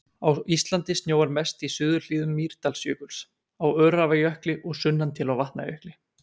Á Íslandi snjóar mest í suðurhlíðum Mýrdalsjökuls, á Öræfajökli og sunnan til á Vatnajökli.